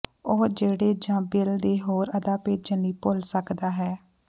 ਉਹ ਜਿਹੜੇ ਜ ਬਿੱਲ ਦੇ ਹੋਰ ਅਦਾ ਭੇਜਣ ਲਈ ਭੁੱਲ ਸਕਦਾ ਹੈ